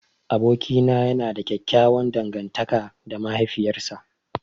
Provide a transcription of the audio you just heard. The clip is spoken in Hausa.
Abokina yana da ƙyaƙƙyawan dangantaka da mahaifiyar sa.